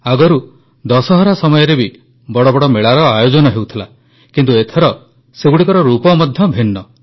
ଆଗରୁ ଦଶହରା ସମୟରେ ବି ବଡ଼ ବଡ଼ ମେଳାର ଆୟୋଜନ ହେଉଥିଲା କିନ୍ତୁ ଏଥର ସେଗୁଡ଼ିକର ରୂପ ମଧ୍ୟ ଭିନ୍ନ